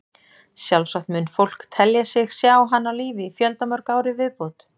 Sjálfsagt mun fólk telja sig sjá hann á lífi í fjöldamörg ár í viðbót.